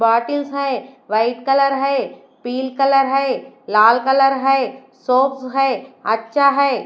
Bottles है white colour है pink colour है लाल कलर है सोप्स है अच्छा है।